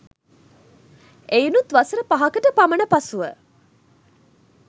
එයිනුත් වසර පහකට පමණ පසුව